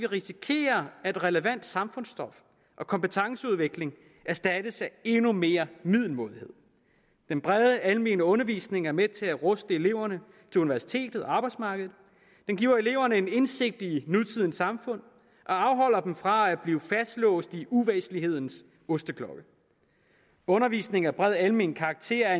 risikerer at relevant samfundsstof og kompetenceudvikling erstattes af endnu mere middelmådighed den brede almene undervisning er med til at ruste eleverne til universitetet og arbejdsmarkedet den giver eleverne en indsigt i nutidens samfund og afholder dem fra at blive fastlåst i uvæsentlighedens osteklokke undervisning af bred almen karakter er